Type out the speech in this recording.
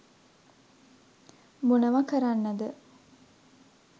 මොනව කරන්නද